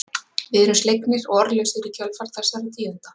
Við erum slegnir og orðlausir í kjölfar þessara tíðinda.